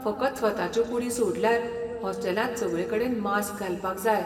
फकत स्वताच्यो कुडी सोडल्यार हॉस्टेलांत सगळेकडेन मास्क घालपाक जाय.